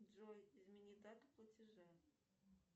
джой измени дату платежа